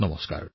নমস্কাৰ